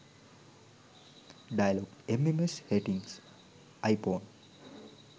dialog mms setting iphone